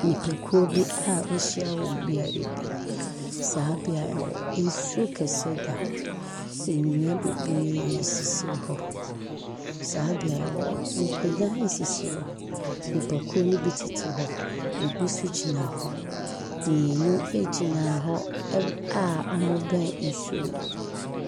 Nipakuo bi a wɔahyia wɔ beaeɛ bi. Saa beaeɛ hɔ, nsuo kɛseɛ da hɔ. Nnua bebree sisi hɔ. Saa beaeɛ hɔ, nkonnwa sisi hɔ. Nipakuo no bi tete hɔ, ɛbi nso gyina hɔ. Mmieni gyina hɔ a wɔbɛn nsuo no.